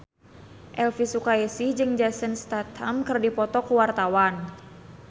Elvy Sukaesih jeung Jason Statham keur dipoto ku wartawan